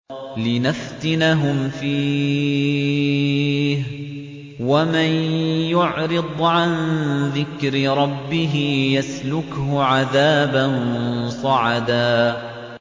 لِّنَفْتِنَهُمْ فِيهِ ۚ وَمَن يُعْرِضْ عَن ذِكْرِ رَبِّهِ يَسْلُكْهُ عَذَابًا صَعَدًا